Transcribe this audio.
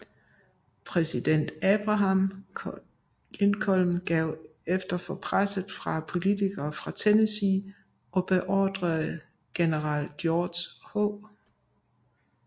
Præsident Abraham Lincoln gav efter for presset fra politikere fra Tennessee og beordrede general George H